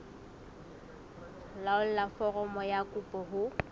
laolla foromo ya kopo ho